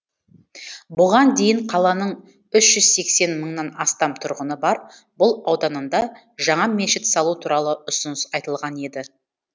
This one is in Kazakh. бұған дейін қаланың үш жүз сексен мыңнан астам тұрғыны бар бұл ауданында жаңа мешіт салу туралы ұсыныс айтылған еді